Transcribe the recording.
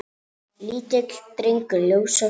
Lítill drengur ljós og fagur.